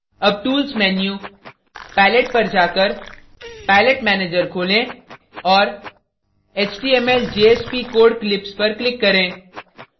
अब tools menu> palette पर जाकर palette manager खोलें और html/jsp code clips पर click करें